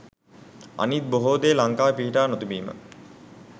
අනිත් බොහේ දේ ලංකාවේ පිහිටා නොතිබීම